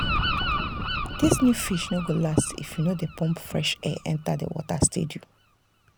this new fish no go last if you no dey pump fresh air enter the water steady.